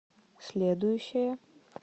следующая